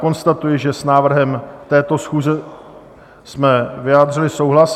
Konstatuji, že s návrhem této schůze jsme vyjádřili souhlas.